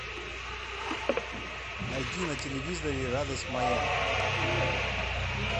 найди на телевизоре радость моя